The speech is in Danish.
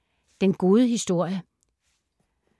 Den gode historie